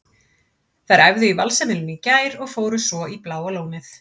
Þær æfðu í Valsheimilinu í gær og fóru svo í Bláa lónið.